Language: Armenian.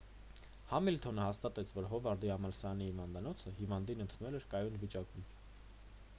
համիլթոնը հաստատեց որ հովարդի համալսարանի հիվանդանոցը հիվանդին ընդունել էր կայուն վիճակում